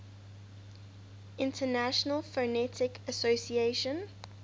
international phonetic association